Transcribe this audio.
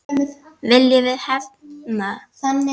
Viljum við hefnd?